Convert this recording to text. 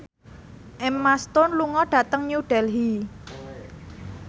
Emma Stone lunga dhateng New Delhi